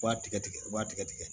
I b'a tigɛ tigɛ i b'a tigɛ tigɛ